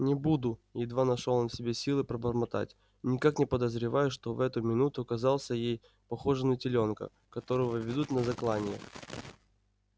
не буду едва нашёл он в себе силы пробормотать никак не подозревая что в эту минуту казался ей похожим на телёнка которого ведут на заклание